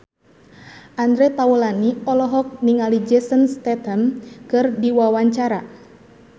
Andre Taulany olohok ningali Jason Statham keur diwawancara